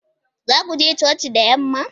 Za ku je coci da yamma?